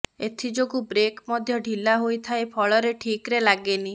ଏଥିଯୋଗୁଁ ବ୍ରେକ୍ ମଧ୍ୟ ଢ଼ିଲା ହୋଇଥାଏ ଫଳରେ ଠିକ୍ରେ ଲାଗେନି